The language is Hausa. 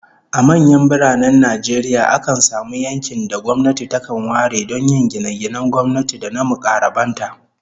A manyan biranen Najeriya, akan samu yankin da gwamnati takan ware don yin gine-ginen gwamnati da na mukarraban ta